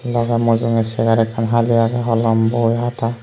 loge mujunge chair ekkan hali agey holom boi hata.